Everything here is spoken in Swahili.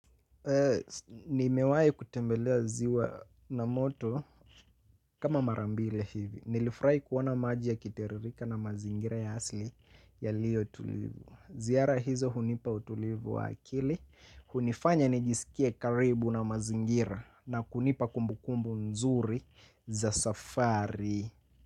Nimewai kutembelea ziwa la moto kama mara mbili hivi. Nilifurahi kuona maji yakiteremka na mazingira ya asili yaliyo tulivu. Ziara hizo hunipa utulivu wa akili. Hunifanya nijisikie karibu na mazingira na kunipa kumbukumbu nzuri za safari.